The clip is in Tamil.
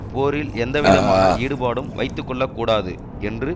போரில் எந்த விதமான ஈடுபாடும் வைத்துக்கொள்ளக்கூடாது என்று